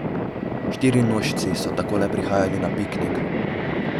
Štirinožci so takole prihajali na piknik.